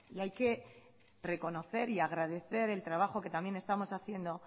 y hay que reconocer y agradecer el trabajo que también estamos haciendo